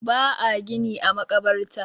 ba a gini a makabarta